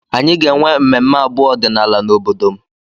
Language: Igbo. Anyị ga-enwe mmemme abụ ọdịnala n'obodo m